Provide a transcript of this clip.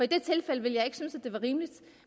det tilfælde ville jeg ikke synes det var rimeligt